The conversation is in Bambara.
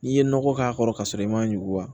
N'i ye nɔgɔ k'a kɔrɔ kasɔrɔ i m'a ɲugu wa